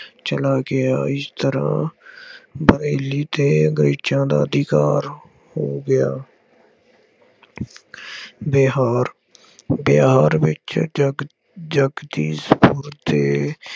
ਚਲਾ ਗਿਆ। ਇਸ ਤਰ੍ਹਾਂ ਬਰੇਲੀ ਤੇ ਅੰਗਰੇਜ਼ਾਂ ਦਾ ਅਧਿਕਾਰ ਹੋ ਗਿਆ। ਬਿਹਾਰ- ਬਿਹਾਰ ਵਿੱਚ ਜਗ ਜਗਦੀ ਸਤੰਭ ਤੇ